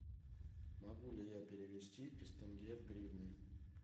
могу ли я перевести из тенге в гривны